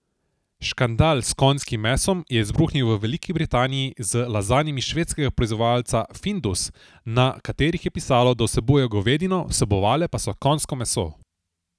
Škandal s konjskim mesom je izbruhnil v Veliki Britaniji z lazanjami švedskega proizvajalca Findus, na katerih je pisalo, da vsebujejo govedino, vsebovale pa so konjsko meso.